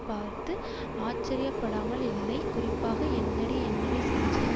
பார்த்து ஆச்சர்யப்படாமல் இல்லை குறிப்பாக என்னடி என்னடி செஞ்ச